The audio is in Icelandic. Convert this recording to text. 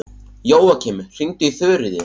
Jóakim, hringdu í Þuríði.